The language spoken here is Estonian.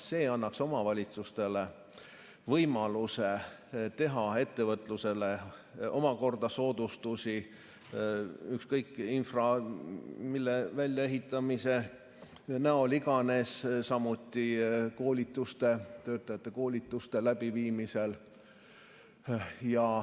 See annaks omavalitsustele võimaluse teha ettevõtlusele omakorda soodustusi, infrastruktuuri või mille väljaehitamise näol iganes, samuti töötajate koolituste läbiviimisel.